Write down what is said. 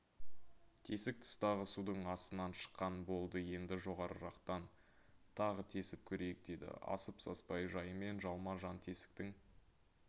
тесік тыстағы судың астынан шыққан болды енді жоғарырақтан тағы тесіп көрейік деді асып-саспай жайымен жалма-жан тесіктің